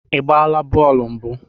Ị gbaa bọọlụ mbụ?